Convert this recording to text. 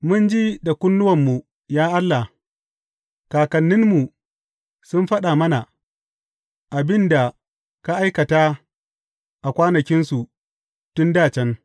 Mun ji da kunnuwanmu, ya Allah; kakanninmu sun faɗa mana abin da ka aikata a kwanakinsu, tun dā can.